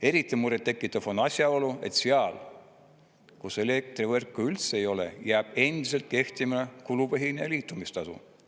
Eriti murettekitav on asjaolu, et seal, kus elektrivõrku üldse ei ole, jääb endiselt kehtima kulupõhine liitumistasu.